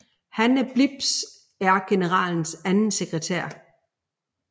Hanne Blips er generalens anden sekretær